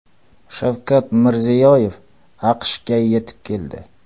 Shavkat Mirziyoyev AQShga yetib keldi.